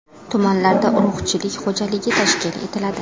Tumanlarda urug‘chilik xo‘jaligi tashkil etiladi.